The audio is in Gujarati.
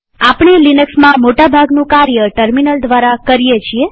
આપણે લિનક્સમાં મોટા ભાગનું કાર્ય ટર્મિનલ દ્વારા કરીએ છીએ